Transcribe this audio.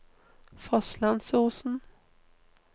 Fosslandsosen